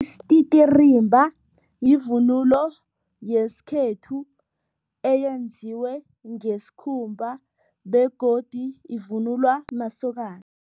Isititirimba yivunulo yesikhethu eyenziwe ngesikhumba begodu ivunulwa masokana.